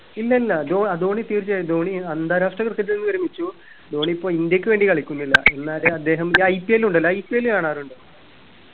ഇല്ലില്ല ധോ അഹ് ധോണി തീർച്ചയായും ധോണി അന്താരാഷ്ട്ര cricket ൽ നിന്ന് വിരമിച്ചു ധോണി ഇപ്പൊ ഇന്ത്യക്ക് വേണ്ടി കളിക്കുന്നില്ല എന്നാല് അദ്ദേഹം ഇ IPL ഉണ്ടല്ലോ IPL കാണാറുണ്ടോ